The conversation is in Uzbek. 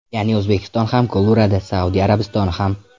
Ya’ni O‘zbekiston ham gol uradi, Saudiya Arabistoni ham.